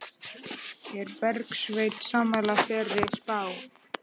Er Bergsveinn sammála þeirri spá?